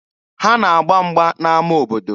Ha na-agba mgba n'ama obodo.